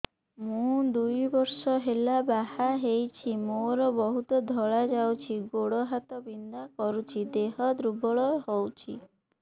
ମୁ ଦୁଇ ବର୍ଷ ହେଲା ବାହା ହେଇଛି ମୋର ବହୁତ ଧଳା ଯାଉଛି ଗୋଡ଼ ହାତ ବିନ୍ଧା କରୁଛି ଦେହ ଦୁର୍ବଳ ହଉଛି